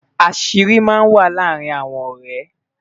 àṣírí má n wà làrin ọrẹ